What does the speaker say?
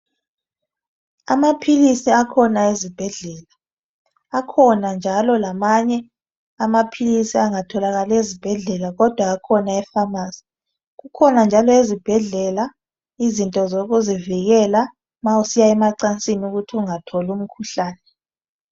Amaphilisi akhona ezibhedlela, akhona njalo lamanye amaphilisi angatholakali ezibhedlela kodwa akhona ephamarcy kukhona njalo ezibhedlela izinto zokuzivikela ma usiya emacansini ukuthi ungatholi umkhuhlane.